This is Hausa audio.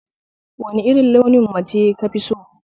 Wani irin launin mace kafi so?